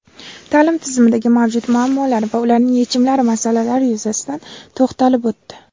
ta’lim tizimidagi mavjud muammolar va ularning yechimlari masalalari yuzasidan to‘xtalib o‘tdi.